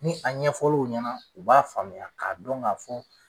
Ni a ɲɛfɔr'u ɲɛna u b'a faamuya k'a dɔn ka fɔ